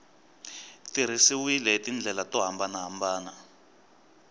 tirhisiwile hi tindlela to hambanahambana